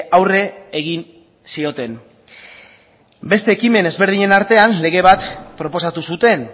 aurre egin zioten beste ekimen ezberdinen artean lege bat proposatu zuten